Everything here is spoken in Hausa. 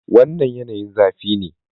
Wannan yanayin zafi ne.